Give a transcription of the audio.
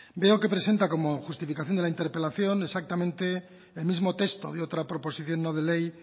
veo que presenta como justificación de la interpelación exactamente el mismo texto de otra proposición no de ley